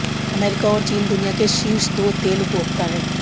America और चीन दुनिया के शीर्ष दो तेल उपभोक्ता हैं